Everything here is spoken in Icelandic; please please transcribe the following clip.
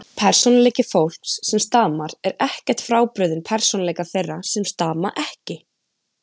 Persónuleiki fólks sem stamar er ekkert frábrugðinn persónuleika þeirra sem stama ekki.